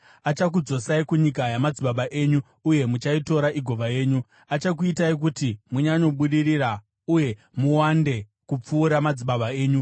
Achakudzosai kunyika yamadzibaba enyu, uye muchaitora igova yenyu. Achakuitai kuti munyanyobudirira uye muwande kupfuura madzibaba enyu.